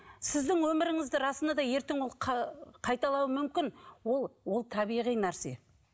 сіздің өміріңізді расында да ертең ол қайталауы мүмкін ол ол табиғи нәрсе